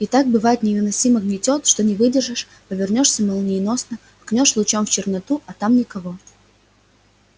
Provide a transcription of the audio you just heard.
и так бывает невыносимо гнетёт что не выдержишь повернёшься молниеносно ткнёшь лучом в черноту а там никого